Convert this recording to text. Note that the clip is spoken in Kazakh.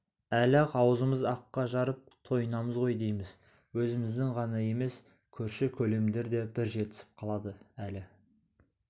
әлі-ақ аузымыз аққа жарып тойынамыз ғой дейміз өзіміз ғана емес көрші-көлемдер де бір жетісіп қалады әлі